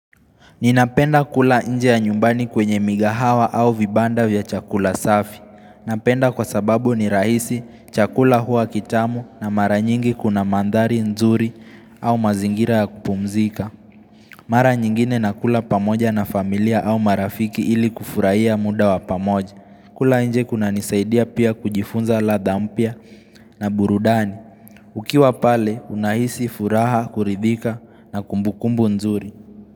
Ninapenda kula nje ya nyumbani kwenye migahawa au vibanda vya chakula safi. Napenda kwa sababu ni rahisi chakula hua kitamu na mara nyingi kuna mandhari nzuri au mazingira ya kupumzika. Mara nyingine na kula pamoja na familia au marafiki ili kufurahiya muda wa pamoja. Kula nje kuna nisaidia pia kujifunza ladhaa mpia na burudani. Ukiwa pale unahisi furaha kuridhika na kumbukumbu nzuri.